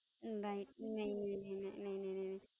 Right, નય નય નય નય નય